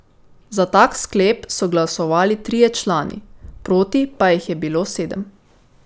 Za tak sklep so glasovali trije člani, proti pa jih je bilo sedem.